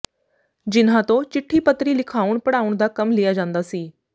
ਜਿਨ੍ਹਾਂ ਤੋਂ ਚਿੱਠੀ ਪਤਰੀ ਲਿਖਾਉਣ ਪੜ੍ਹਾਉਣ ਦਾ ਕੰਮ ਲਿਆ ਜਾਂਦਾ ਸੀ